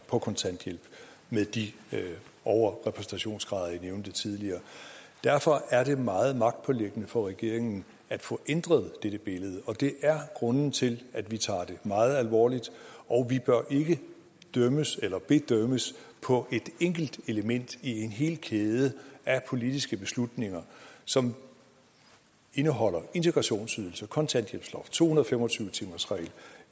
på kontanthjælp med de overrepræsentationsgrader jeg nævnte tidligere derfor er det meget magtpåliggende for regeringen at få ændret dette billede og det er grunden til at vi tager det meget alvorligt og vi bør ikke dømmes eller bedømmes på et enkelt element i en hel kæde af politiske beslutninger som indeholder integrationsydelse kontanthjælpsloft to hundrede og fem og tyve timersregel